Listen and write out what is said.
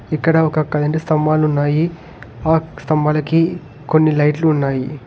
ఇక్కడ ఒక కరెంటు స్తంభాలున్నాయి ఆ స్థంభాలకి కొన్ని లైట్లు ఉన్నాయి.